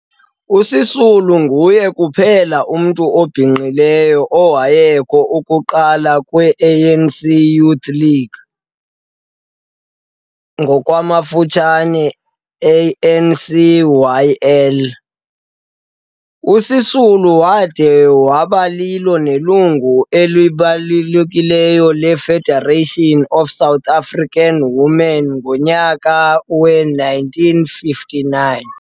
USisulu nguye kuphela umntu obhinqileyo owayekho ukuqalwa kwe-ANC Youth League, ANCYL. USisulu wade wabalilo nelungu elibekekileyo le-Federation of South African Women ngomnyaka we-1959.